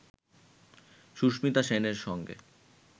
সুস্মিতা সেনের সঙ্গে